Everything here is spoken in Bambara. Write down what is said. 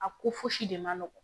A ko fosi de ma nɔgɔn